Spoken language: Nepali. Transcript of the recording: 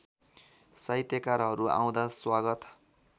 साहित्यकारहरू आउँदा स्वागत